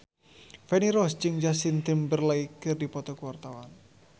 Feni Rose jeung Justin Timberlake keur dipoto ku wartawan